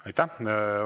Aitäh!